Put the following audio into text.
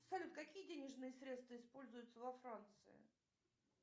салют какие денежные средства используются во франции